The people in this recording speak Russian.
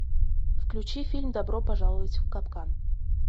включи фильм добро пожаловать в капкан